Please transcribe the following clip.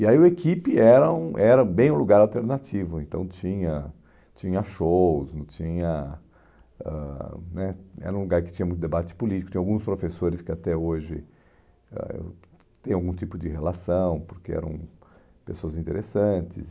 E aí o equipe era um era bem um lugar alternativo, então tinha tinha shows, tinha hum né era um lugar que tinha muito debate político, tinha alguns professores que até hoje ãh têm algum tipo de relação, porque eram pessoas interessantes.